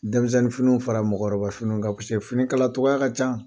Denmisɛnnin finiw fara mɔgɔkɔrɔba finiw kan fini kala cogoya ka ca.